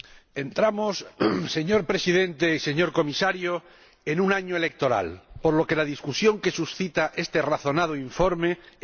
Señor Presidente, señor Comisario, entramos en un año electoral, por lo que la discusión que suscita este razonado informe es muy oportuna.